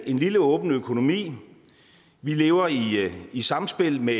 en lille åben økonomi vi lever i samspil med